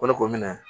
O de ko minɛ